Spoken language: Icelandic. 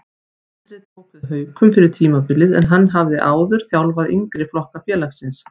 Andri tók við Haukum fyrir tímabilið en hann hafði áður þjálfaði yngri flokka félagsins.